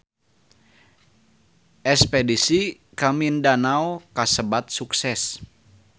Espedisi ka Mindanao kasebat sukses